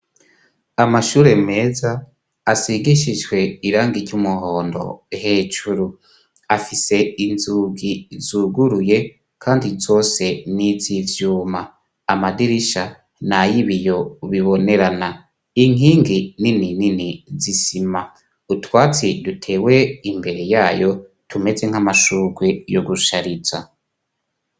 Amashure meza asigishijwe irangi ry'umuhondo hejuru afise inzugi zuguruye, kandi zose n'iz ivyuma amadirisha ni a yoibiyo ubibonerana inkingi nini nini zisima utwatsi dutewe imbere yayo tumeze nk'amashurwe yo gushariza.